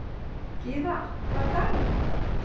Gyða, hvaða dagur er í dag?